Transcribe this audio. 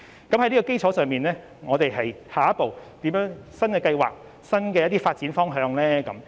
在這基礎上，我們下一步有何新的計劃及新的發展方向呢？